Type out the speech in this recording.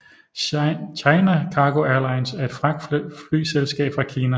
China Cargo Airlines er et fragtflyselskab fra Kina